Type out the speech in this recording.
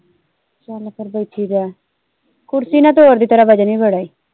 ਚਲ ਫਿਰ ਬੈਠੀ ਰਹਿ ਕੁਰਸੀ ਨਾ ਤੋੜਦੀ ਤੇਰਾ ਵਜਨ ਵੀ ਬੜਾ ਈ।